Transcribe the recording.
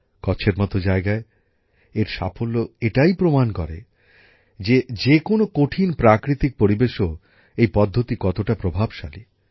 কচ্ছর মতো জায়গায় এর সাফল্য এটাই প্রমাণ করে যে যেকোনো কঠিন প্রাকৃতিক পরিবেশেও এই পদ্ধতি কতটা প্রভাবশালী